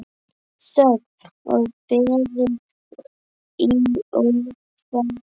Þögn og beðið í ofvæni.